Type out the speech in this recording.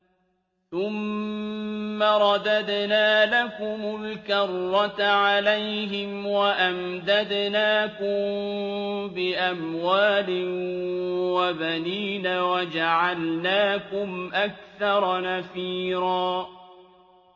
ثُمَّ رَدَدْنَا لَكُمُ الْكَرَّةَ عَلَيْهِمْ وَأَمْدَدْنَاكُم بِأَمْوَالٍ وَبَنِينَ وَجَعَلْنَاكُمْ أَكْثَرَ نَفِيرًا